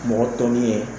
Mɔgɔ tɔ min ye